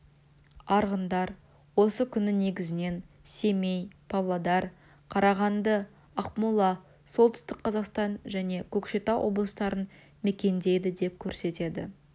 арғындар осы күні негізінен семей павлодар қарағанды ақмола солтүстік қазақстан және көкшетау облыстарын мекендейді деп көрсетеді